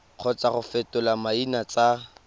kgotsa go fetola maina tsa